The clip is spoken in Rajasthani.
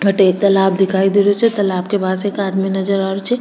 अठे एक तालाब दिखाई दे रो छे तालाब के पास एक आदमी नजर आ रेहो छे।